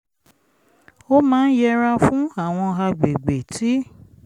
ó máa n yẹra fún àwọn agbègbè tí